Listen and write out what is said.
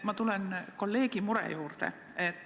Ma tulen kolleegi mure juurde.